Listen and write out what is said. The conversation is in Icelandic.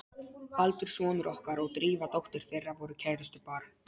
Baldur sonur okkar og Drífa dóttir þeirra voru kærustupar.